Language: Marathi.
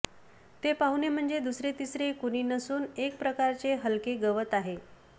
हे पाहुणे म्हणजे दुसरे तिसरे कुणी नसून एक प्रकारचे हलके गवत आहे